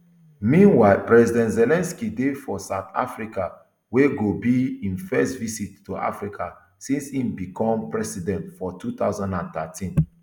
meanwhile president zelensky dey for south africa wey go be im first visit to africa since im bicom president for two thousand and nineteen